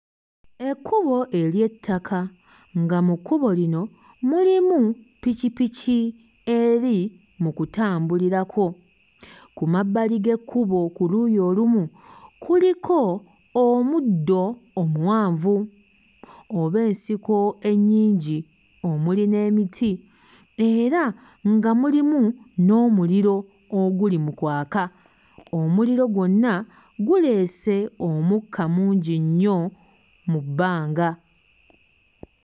Ekkubo ery'ettaka. Nga mu kkubo lino mulimu ppikipiki eri mu kutambulirako. Ku mabbali g'ekkubo ku luuyi olumu kuliko omuddo omuwanvu oba ensiko ennyingi omuli n'emiti, era nga mulimu n'omuliro oguli mu kwaka. Omuliro gwonna guleese omukka mungi nnyo mu bbanga.